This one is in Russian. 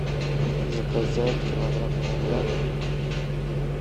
заказать килограмм винограда